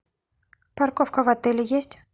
парковка в отеле есть